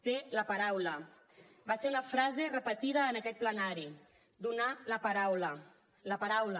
té la paraula va ser una frase repetida en aquest plenari donar la paraula la paraula